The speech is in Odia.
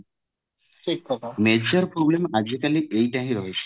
major problem ଆଜିକାଲି ଏଇଟା ହିଁ ରହିଛି